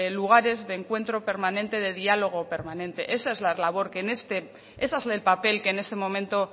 lugares de encuentro permanente de diálogo permanente esa es la labor ese es el papel